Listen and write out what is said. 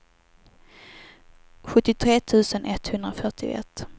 sjuttiotre tusen etthundrafyrtioett